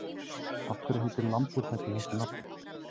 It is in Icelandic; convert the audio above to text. Af hverju heitir lambhúshetta þessu nafni?